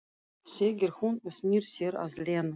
segir hún og snýr sér að Lenu.